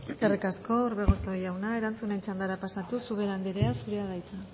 eskerrik asko orbegozo jauna erantzuten txandara pasatuz ubera anderea zurea da hitza